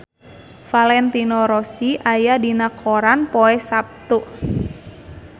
Valentino Rossi aya dina koran poe Saptu